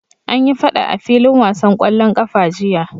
Anyi faɗa a filin wasan ƙwallon ƙafa jiya.